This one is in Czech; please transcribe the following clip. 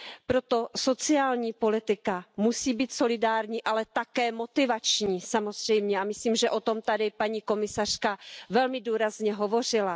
Proto sociální politika musí být solidární, ale také motivační samozřejmě a myslím, že o tom tady paní komisařka velmi důrazně hovořila.